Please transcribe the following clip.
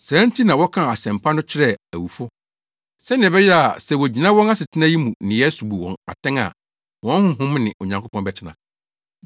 Saa nti na wɔkaa Asɛmpa no kyerɛɛ awufo, sɛnea ɛbɛyɛ a sɛ wogyina wɔn asetena yi mu nneyɛe so bu wɔn atɛn a wɔn honhom ne Onyankopɔn bɛtena.